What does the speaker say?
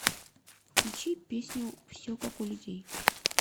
включи песню все как у людей